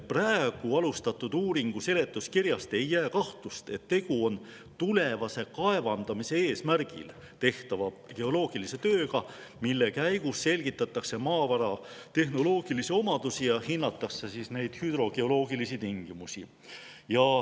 Praegu alustatud uuringu seletuskirjast ei jää kahtlust, et tegu on tulevase kaevandamise eesmärgil tehtava geoloogilise tööga, mille käigus selgitatakse välja maavara tehnoloogilised omadused ja hinnatakse hüdrogeoloogilisi tingimusi.